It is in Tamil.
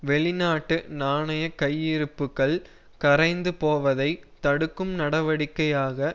வெளிநாட்டு நாணய கையிருப்புக்கள் கரைந்து போவதைத் தடுக்கும் நடவடிக்கையாக